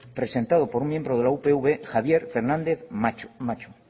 presentado por un miembro de la upv javier fernández macho